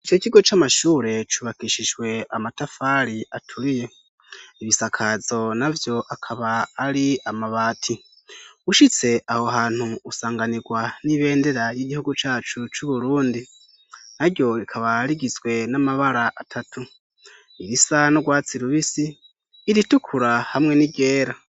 Ico kigo c'amashure cubakishijwe amatafari aturiye, ibisakazo navyo akaba ari amabati. Ushitse aho hantu usanganirwa n'ibendera y'igihugu cacu c'Uburundi; naryo rikaba rigizwe n'amabara atatu: irisa n'urwatsi rubisi, iritukura hamwe n'iryera.